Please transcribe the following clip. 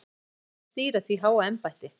Og hver ykkar skal stýra því háa embætti?